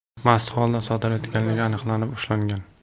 mast holda sodir etganligi aniqlanib, ushlangan.